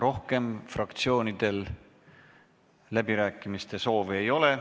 Rohkem fraktsioonidel läbirääkimise soovi ei ole.